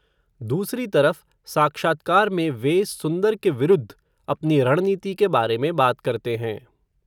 दूसरी तरफ़, साक्षात्कार में वे, सुंदर के विरूद्ध, अपनी रणनीति के बारे में बात करते हैं